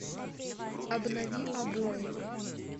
обнови обои